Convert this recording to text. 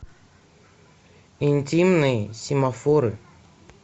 интимные семафоры